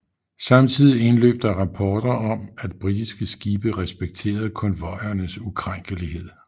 Samtidigt indløb der rapporter om at britiske skibe respekterede konvojernes ukrænkelighed